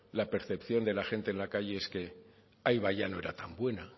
la percepción de la gente en la calle es que ya no era tan buena